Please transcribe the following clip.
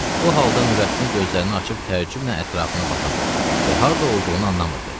Bu halda Nurəddin gözlərini açıb təəccüblə ətrafına baxırdı və harda olduğunu anlamırdı.